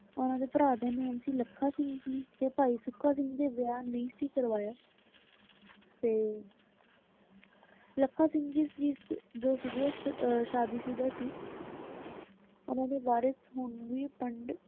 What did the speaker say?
ਉਹਨਾ ਦੇ ਭਰਾ ਦਾ ਨਾਂ ਸੀ ਲੱਖਾ ਸਿੰਘ ਜੀ ਤੇ ਭਾਈ ਸੁੱਖਾ ਸਿੰਘ ਨੇ ਵਿਆਹ ਨਹੀਂ ਸੀ ਕਰਵਾਇਆ ਤੇ ਲੱਖਾ ਸਿੰਘ ਜੀ ਸੀ ਜੋ ਸੀਗੇ ਅਹ ਸ਼ਾਦੀ ਸੁਦਾ ਸੀ ਉਨ੍ਹਾਂ ਦੇ ਵਾਰਿਸ ਹੁਣ ਵੀ ਪਿੰਡ,